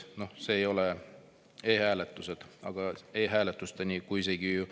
Noh, see ei olnud e-hääletus, e-hääletuseni.